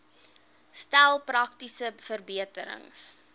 stel praktiese verbeterings